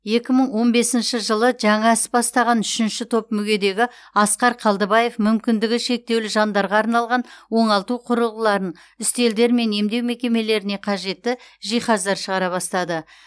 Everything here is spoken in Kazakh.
екі мың он бесінші жылы жаңа іс бастаған үшінші топ мүгедегі асқар қалдыбаев мүмкіндігі шектеулі жандарға арналған оңалту құрылғыларын үстелдер мен емдеу мекемелеріне қажетті жиһаздар шығара бастады